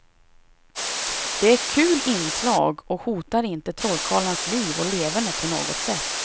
Det är kul inslag och hotar inte trollkarlarnas liv och leverne på något sätt.